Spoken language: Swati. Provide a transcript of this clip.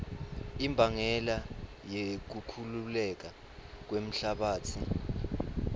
imbangela yekukhukhuleka kwemhlabatsi